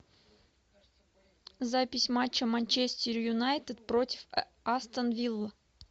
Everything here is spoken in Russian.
запись матча манчестер юнайтед против астон вилла